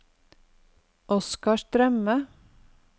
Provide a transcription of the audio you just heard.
Oscar Strømme